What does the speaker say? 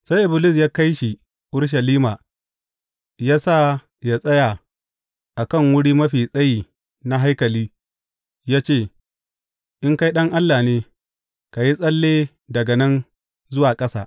Sai Iblis, ya kai shi Urushalima ya sa ya tsaya a kan wuri mafi tsayi na haikali ya ce, In kai Ɗan Allah ne, ka yi tsalle daga nan zuwa ƙasa.